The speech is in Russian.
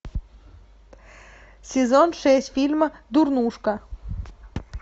сезон шесть фильма дурнушка